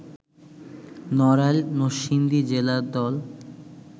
নড়াইল নরসিংদী জেলা দল